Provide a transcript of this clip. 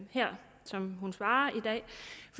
her som hun svarer